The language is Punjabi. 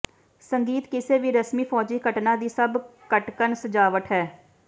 ਸੰਗੀਤ ਕਿਸੇ ਵੀ ਰਸਮੀ ਫੌਜੀ ਘਟਨਾ ਦੀ ਸਭ ਖਟਕਣ ਸਜਾਵਟ ਹੈ